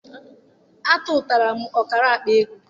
Atụtaara m ọkara akpaego.